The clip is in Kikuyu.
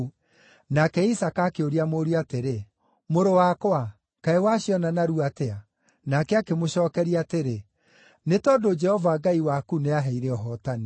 Nake Isaaka akĩũria mũriũ atĩrĩ, “Mũrũ wakwa, kaĩ waciona narua atĩa?” Nake akĩmũcookeria atĩrĩ, “Nĩ tondũ Jehova Ngai waku nĩaheire ũhootani.”